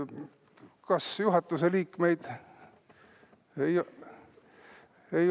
Kas juhatuse liikmeid on?